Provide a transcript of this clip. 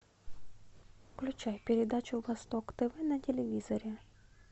включай передачу восток тв на телевизоре